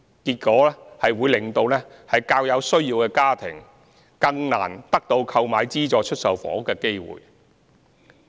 結果，這會令較有需要的家庭更難得到購買資助出售房屋的機會。